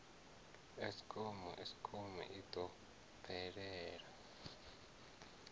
eskom eskom i ḓo bvela